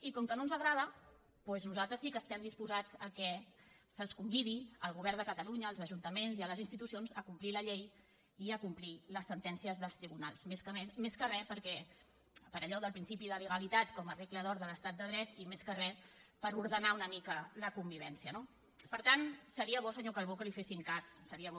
i com que no ens agrada doncs nosaltres sí que estem disposats que se’ls convidi al govern de catalunya als ajuntaments i a les institucions a complir la llei i a complir les sentències dels tribunals més que re per allò del principi de legalitat com a regla d’or de l’estat de dret i més que re per ordenar una mica la convivència no per tant seria bo senyor calbó que li fessin cas seria bo